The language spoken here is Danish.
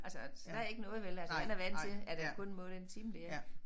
Altså så der er ikke noget vel altså han er vant til at han kun må det en time der ik